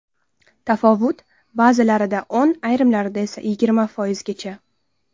Tafovut ba’zilarida o‘n, ayrimlarida esa yigirma foizgacha.